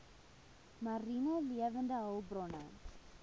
mariene lewende hulpbronne